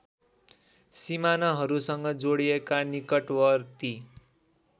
सीमानाहरूसँग जोडिएका निकटवर्ती